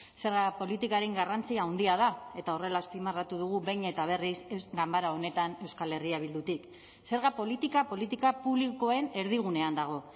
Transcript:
zerga politikaren garrantzia handia da eta horrela azpimarratu dugu behin eta berriz ganbara honetan euskal herria bildutik zerga politika politika publikoen erdigunean dago